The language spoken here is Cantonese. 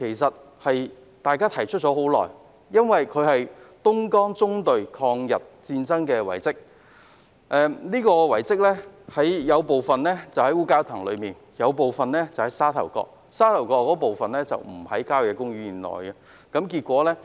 這項遺蹟與東江縱隊抗日有關，部分位於烏蛟騰，部分則位於沙頭角，而位於沙頭角的部分並不屬郊野公園範圍內。